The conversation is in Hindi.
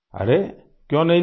अरे क्यों नहीं लिया